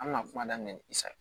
An bɛna kuma daminɛ ni i sa